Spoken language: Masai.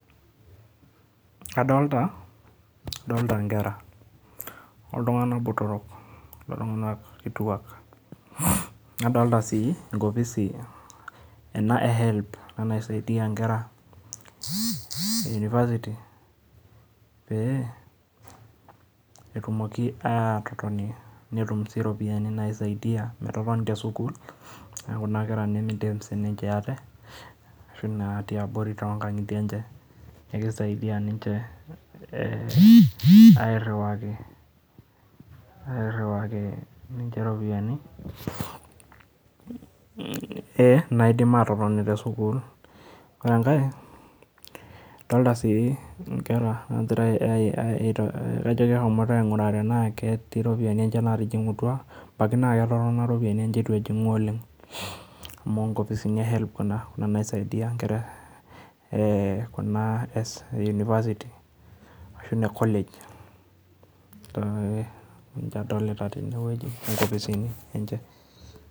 Adolta, adolta nkera ,oltungana botoro, oltungana kituak adolta si enkofisi e helb, ena naisaidia inkera e university pe etumoki atotoni netum si iropiani naisaidia, metoponi tesukul, niaku kuna kera nemeidim ate ashu natii abori tonkangitie enye, kisaidia ninche eriwaki ninche iropiani naidim atopon tesukul, ore enkae adolta si inkera nangira aai ai kajo keshomoito aingura tena ketii iropiani enye natijingutua, abaiki na ketotona iropiani enye etu ejingu oleng, amu inkofisi e helb kuna naisaidia inkera ee kuna e university ashu ine college, ninche adolta teneweuji inkofisini enche .